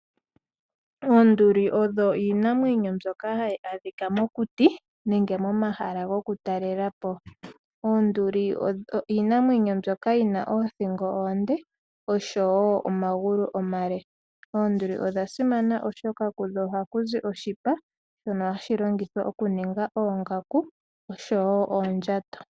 Oonduli odho iinamwenyo ndjoka yina othingo onde no sho woo omagulu omale. Oonduli oha dhi adhika mookuti nenge pomahala gokutalela. Oonduli odhasimana unene noonkondo oshoka kudho oha kuzi oshipa shoka hashi longithwa oku ninga oongaku nosho woo oondjato.